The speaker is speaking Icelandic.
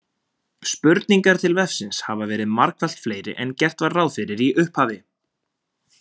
Spurningar til vefsins hafa verið margfalt fleiri en gert var ráð fyrir í upphafi.